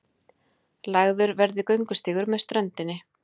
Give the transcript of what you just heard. Lagður verði göngustígur með ströndinni